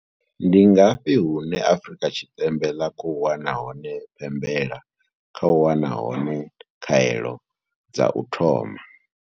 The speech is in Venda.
Ndi ngafhi hune Afrika Tshipembe ḽa khou wana hone pembela khou wana hone khaelo dza u thoma?